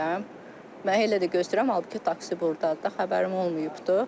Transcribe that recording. Mənə elə də gözləyirəm, halbuki taksi burdadır, da xəbərim olmayıbdır.